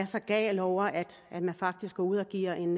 er så gal over at man faktisk går ud og giver en